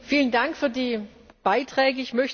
Vielen Dank für die Beiträge.